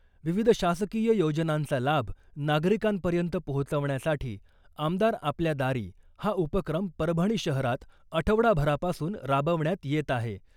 विविध शासकीय योजनांचा लाभ नागरिकांपर्यंत पोहोचवण्यासाठी आमदार आपल्या दारी हा उपक्रम परभणी शहरात आठवडाभरापासून राबवण्यात येत आहे .